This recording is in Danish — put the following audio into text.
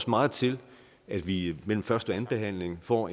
meget til at vi mellem første og andenbehandlingen får